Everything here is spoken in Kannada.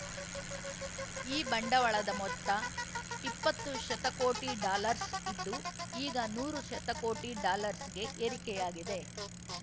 ಈ ಬಂಡವಾಳದ ಮೊತ್ತ ಇಪ್ಪತ್ತು ಶತಕೋಟಿ ಡಾಲರ್ಸ್ ಇದ್ದು ಈಗ ನೂರು ಶತಕೋಟಿ ಡಾಲರ್ಸ್ ಗೆ ಏರಿಕೆಯಾಗಿದೆ